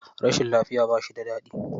Rashin lafiya ba shi da daɗi.